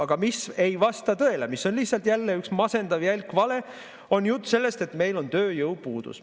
Aga mis ei vasta tõele, mis on lihtsalt jälle üks masendav jälk vale, on jutt sellest, et meil on tööjõupuudus.